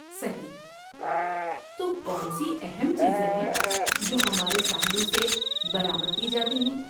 صحیح! تو کون سی اہم چیزیں ہیں جو ہمارے ساحلوں سے برآمد کی جاتی ہیں؟